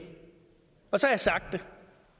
og så har jeg sagt det